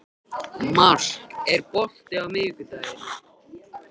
Mark, er bolti á miðvikudaginn?